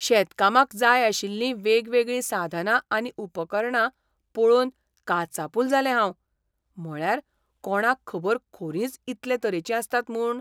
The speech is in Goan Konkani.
शेतकामाक जाय आशिल्लीं वेगवेगळीं साधनां आनी उपकरणां पळोवन काचाबूल जालें हांव. म्हळ्यार, कोणाक खबर खोरींच इतले तरेचीं आसतात म्हूण?